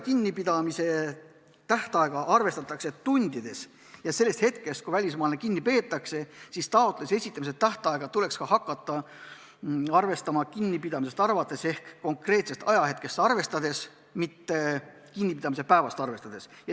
Kinnipidamise tähtaega arvestatakse tundides ja sellest hetkest, kui välismaalane kinni peetakse, tuleks ka taotluse esitamise tähtaega hakata arvestama.